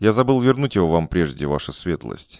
я забыл вернуть его вам прежде ваша светлость